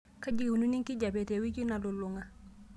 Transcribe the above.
keji eikununo enkijiape tewiki nalulung'a